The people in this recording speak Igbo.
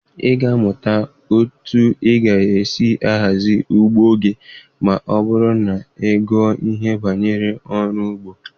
Ị ga-amụta otu ị ga-esi ahazi ugbo gị ma ọ bụrụ na ị gụọ ihe gbasara ọrụ ugbo.